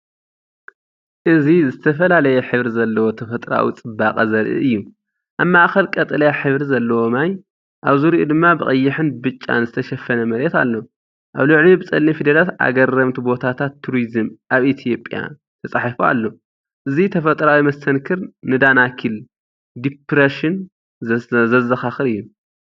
እዚ ዝተፈላለየ ሕብሪ ዘለዎ ተፈጥሮኣዊ ጽባቐ ዘርኢ እዩ። ኣብ ማእከል ቀጠልያ ሕብሪ ዘለዎ ማይ፡ኣብ ዙርያኡ ድማ ብቐይሕን ብጫን ዝተሸፈነ መሬት ኣሎ። ኣብ ልዕሊኡ ብጸሊም ፊደላት "ኣገረምቲ ቦታታት ቱሪዝም ኣብ ኢትዮጵያ"ተጻሒፉ ኣሎ። እዚ ተፈጥሮኣዊ መስተንክር ንዳናኪል ዲፕረሽን ዘዘኻኽር እዩ።